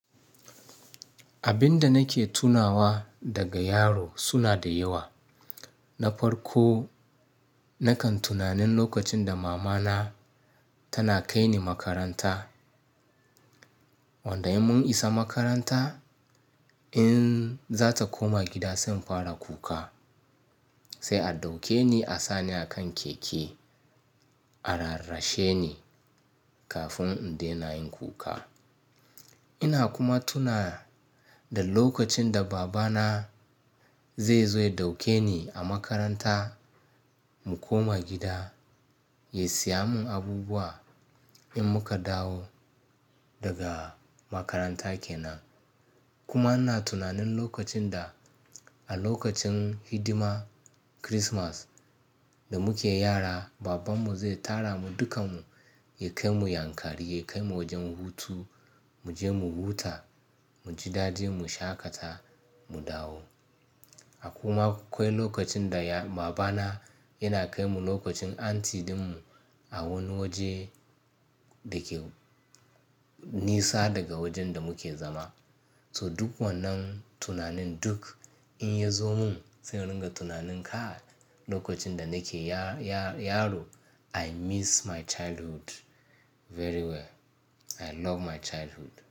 Abin da nake tunawa daga yaro suna da yawa. Na farko, nakan tunanin lokacin da mama na tana kai ni makaranta. Wanda in mun isa makaranta, in zata koma gida, sai in fara kuka. Sai a ɗauke ni, a sa ni a kan keke, a rarrashe ni kafin in dena yin kuka. Ina kuma tuna da lokacin da baba na zai zo ya ɗauke ni a makaranta mu koma gida, ya saya mun abubuwa in muka dawo daga makaranta kenan. Kuma ina tunanin lokacin da a lokacin hidima Kirismas da muke yara, baban mu zai tara mu dukan mu, ya kai mu Yankari, ya kai mu wajen hutu, mu je mu huta, mu ji daɗi, mu shaƙata, mu dawo. A kuma kwai lokacin da ya-- baba na yana kai mu lokacin anti din mu a wani waje da ke nisa daga wajen da muke zama. To duk wannan tunanin duk in ya zo mun, sai in ringa tunanin kai lokacin da nake ya-ya-yaro ai. I miss my childhood very well. I love my childhood.